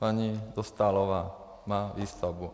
Paní Dostálová má výstavbu.